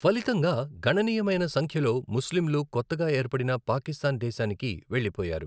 ఫలితంగా, గణనీయమైన సంఖ్యలో ముస్లింలు కొత్తగా ఏర్పడిన పాకిస్థాన్ దేశానికి వెళ్లిపోయారు.